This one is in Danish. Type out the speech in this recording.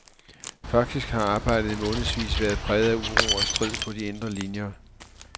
Faktisk har arbejdet i månedsvis været præget af uro og strid på de indre linjer.